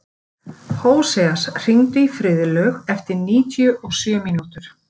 Hóseas, hringdu í Friðlaug eftir níutíu og sjö mínútur.